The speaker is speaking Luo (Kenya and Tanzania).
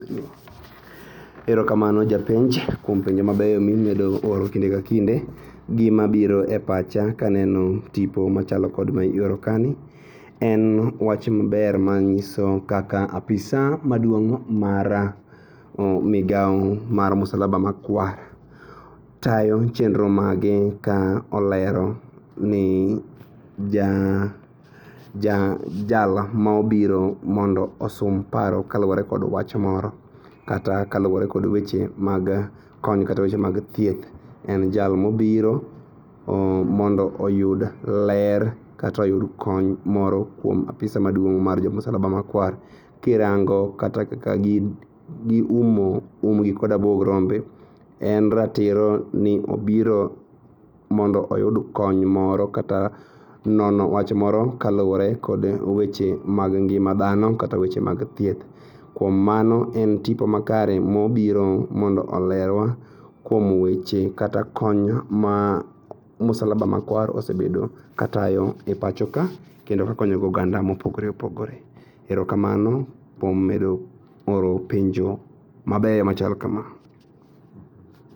Erokamano japenj kuom penjo mabeyo mimedo oro kinde ka kinde gi mabiro e pacha kaneno tipo machalo kod miorokaeni. En wach maber manyiso kaka apisa maduong' mar migao mar msalaba makwar tayo chenro mage ka olero ni ja, ja jal mobiro mondo osom paro kaluore kod wach moro kata kaluore kod weche mag kony kata weche mag thieth. En jal mobiro mondo oyud ler kata oyud kony moro kuom apisa maduong' mar jo msalaba makwar kirango kata kaka giumo umgi kod abuog rombe. En ratiro ni obiro mondo oyud kony moro kata nono wach moro kaluore kod weche mag ngima dhano kata weche mag thieth. Kuom mano en tipo makare mobiro mondo olerwa kuom weche kata kony ma msalaba makwar osebedo katayo e pacho ka kendo kakonyogo oganda mopogore opgore. Erokamano kuom medo oro penjo mabeyo machal kama.